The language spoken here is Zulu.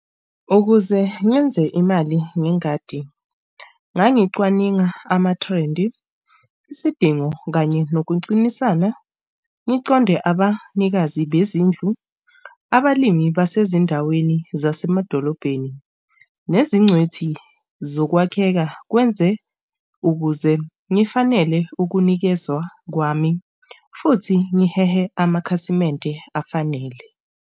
Ukuze ngenze imali ngengadi ngangicwaninga amathrendi, isidingo kanye nokucinisana. Ngiconde abanikazi bezindlu, abalimi basezindaweni zasemadolobheni, nezincwethi zokwakheka kwenze ukuze ngifanele ukunikezwa kwami futhi ngihehe amakhasimende afanele.